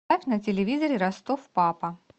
поставь на телевизоре ростов папа